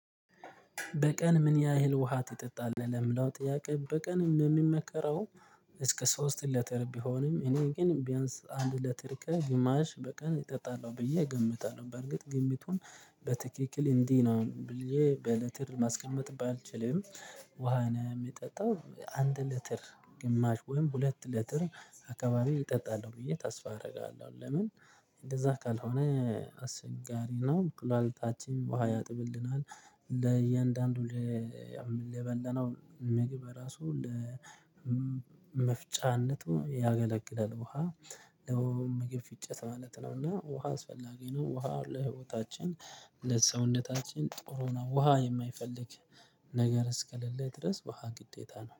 በቀን ምን ያህል ውሃ ትጠጣለህ? ለሚለው ጥያቄ በቀን የሚመከረው እስከ ሶስት ሊትር ቢሆንም እኔ ግን ቢያንስ አንድ ሊትር ከግማሽ በቀን እጠጣለሁ ብዬ እገምታለሁ። በርግጥ ግምቱን በትክክል እንዲህ ነው ብዬ በሊትር ማስቀመጥ ባልችልም። ውሃ ነው የምጠጣው አንድ ሊትር ግማሽ ወይም ሁለት ሊትር አካባቢ እጠጣለሁ ብዬ ተስፋ አደርጋለሁ። ለምን እንደዛ ካልሆነ አስቸጋሪ ነው። ኩላሊታችንም ውሃ ያጥብልናል ለእያንዳንዱ ለበላነው ምግብ ራሱ ለመፍጫነቱ ያገለግላል። ውሃ ያውም ምግብ ፍጨት ማለት ነው። እና ውሃ አስፈላጊ ነው። ውሃ ለህይወታችን እነዚህ ሰውነታችን ጥሩ ነው ውሃ የማይፈልግ ነገር እስከሌለ ድረስ ውሃ ግዴታ ነው